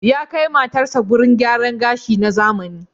Ya kai matarsa wurin gyaran gashi na zamani.